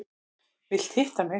Vilt hitta mig.